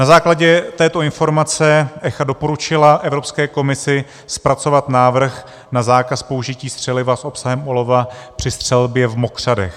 Na základě této informace ECHA doporučila Evropské komisi zpracovat návrh na zákaz použití střeliva s obsahem olova při střelbě v mokřadech.